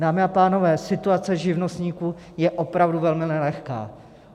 Dámy a pánové, situace živnostníků je opravdu velmi nelehká.